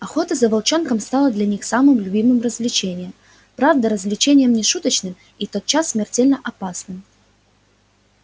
охота за волчонком стала для них самым любимым развлечением правда развлечением не шуточным и подчас смертельно опасным